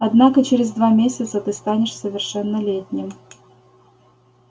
однако через два месяца ты станешь совершеннолетним